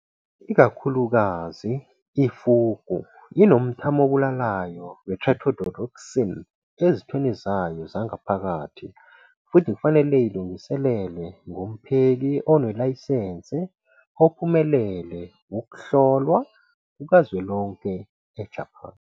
Ikakhulukazi, i-fugu inomthamo obulalayo we- tetrodotoxin ezithweni zayo zangaphakathi futhi kufanele ilungiselelwe ngumpheki onelayisense ophumelele ukuhlolwa kukazwelonke eJapan.